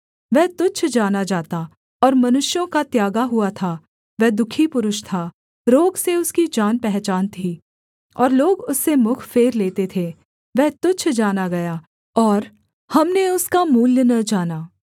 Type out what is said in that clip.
वह तुच्छ जाना जाता और मनुष्यों का त्यागा हुआ था वह दुःखी पुरुष था रोग से उसकी जानपहचान थी और लोग उससे मुख फेर लेते थे वह तुच्छ जाना गया और हमने उसका मूल्य न जाना